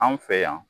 An fɛ yan